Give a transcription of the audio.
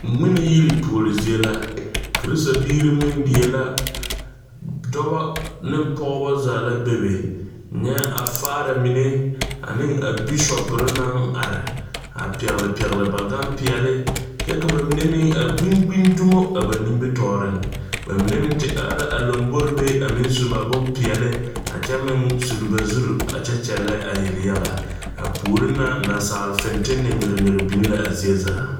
Ŋmeni yiri puori zie la, christabiiri ŋmene die la, dɔba ne pɔgeba zaa la be, nyɛ a faaramine ane a Bishop mine naŋ are a pɛgele pɛgele ba Gan pɛɛle, kyɛ ka ba mine meŋ a gbi gbi dumo a ba nimitɔreŋ, ba mine meŋ te are la a lambori be a meŋ su ba bompɛɛle a kyɛ meŋ suli ba zuri a kyɛ kyɛlɛ a yelyaga a puori na nasaal fintilɛ nyigi nyigi biŋ la a zie zaa.